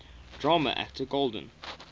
drama actor golden